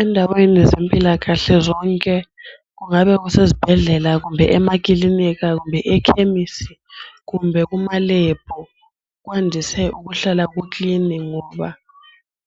Endaweni zempilakahle zonke kungabe kusezibhedlela, kumbe emakilinika, kumbe ekhemisi, kumbe kumalebhu kwandise ukuhlala kuklini ngoba